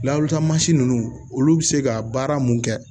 Lalota mansi ninnu olu bɛ se ka baara mun kɛ